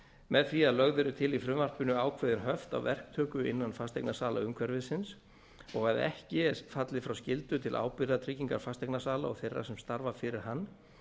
með því að lögð eru til í frumvarpinu ákveðin höft á verktöku innan fasteignasalaumhverfisins og að ekki er fallið frá skyldu til ábyrgðartryggingar fasteignasala og þeirra sem starfa fyrir hann